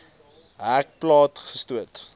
hek plat gestoot